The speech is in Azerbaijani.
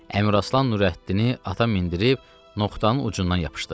Əmiraslan Nurəddini ata mindirib noxtanın ucundan yapışdı.